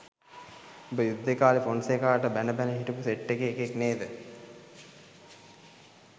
උඹ යුද්දේ කාලේ ෆොන්සේකාට බැන බැන හිටපු සෙට් එකේ එකෙක් නේද?